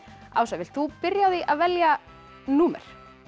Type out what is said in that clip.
Ása vilt þú byrja á því að velja númer